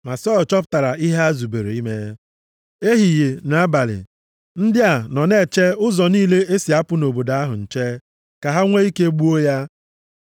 Ma Sọl chọpụtara ihe ha zubere ime. Ehihie na abalị, ndị a nọ na-eche ụzọ niile e si apụ nʼobodo ahụ nche, ka ha nwe ike gbuo ya.